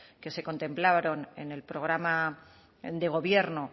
que se contemplaron en el programa de gobierno